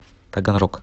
таганрог